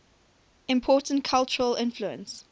important cultural influence